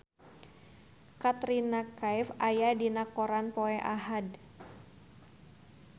Katrina Kaif aya dina koran poe Ahad